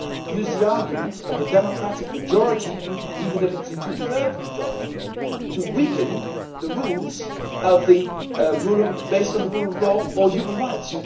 use the argument of a democratic majority even if it is a two thirds majority to weaken the rules based on the rule of law or human rights.